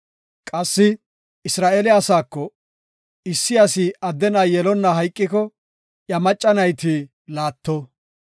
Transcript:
Qassi Isra7eele asaako, ‘Issi asi adde na7a yelonna hayqiko iya macca nayti laatto.